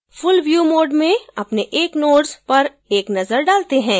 full view mode में अपने एक nodes पर एक नजर डालते हैं